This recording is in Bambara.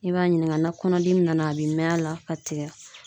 I b'a ɲininka na kɔnɔdimi nana a bɛ mɛn a la ka tigɛ